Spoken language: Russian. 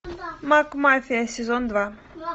мак мафия сезон два